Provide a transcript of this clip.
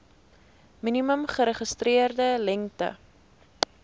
minimum geregistreerde lengte